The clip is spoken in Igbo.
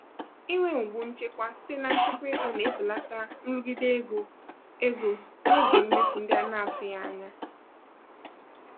inwe ụgbụ nchekwa site na nchekwa ego na-ebelata nrụgide ego ego n'oge mmefu ndị a na-atụghị anya ya.